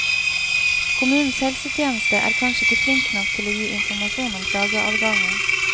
Kommunens helsetjeneste er kanskje ikke flink nok til å gi informasjon om klageadgangen.